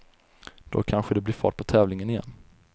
Då kanske det blir fart på tävlingen igen.